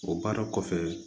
O baara kɔfɛ